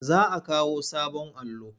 Za a kawo sabon allo.